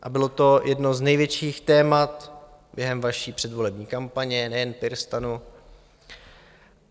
A bylo to jedno z největších témat během vaší předvolební kampaně, nejen PirSTANu.